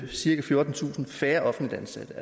cirka fjortentusind færre offentligt ansatte der